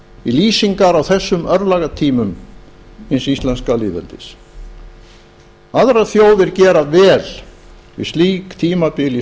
í lýsingar á þessum örlagatímum hins íslenska lýðveldis aðrar þjóðir gera vel við slík tímabil í